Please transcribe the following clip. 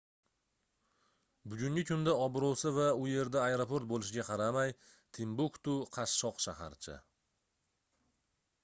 bugungi kunda obroʻsi va u yerda aeroport boʻlishiga qaramay timbuktu qashshoq shaharcha